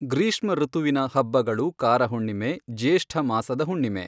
ಗ್ರಿಷ್ಮಋತುವಿನ ಹಬ್ಬಗಳು ಕಾರಹುಣ್ಣಿಮೆ, ಜ್ಯೇಷ್ಠ ಮಾಸದ ಹುಣ್ಣಿಮೆ.